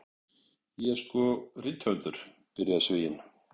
Ég er sko rithöfundur, byrjaði Svíinn.